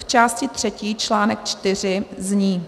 V části třetí článek IV zní: